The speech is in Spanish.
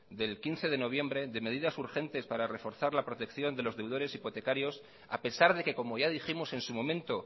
del quince de noviembre de medidas urgentes para reforzar la protección de los deudores hipotecarios a pesar de que como ya dijimos en su momento